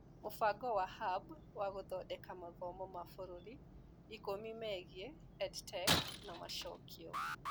Mũbango wa Hub wa gũthondeka mathomo ma mabũrũri ikũmi megiĩ EdTech na macokio.